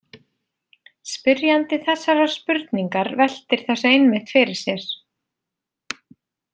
Spyrjandi þessarar spurningar veltir þessu einmitt fyrir sér.